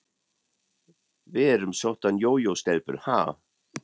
Við erum soddan jójó-stelpur, ha?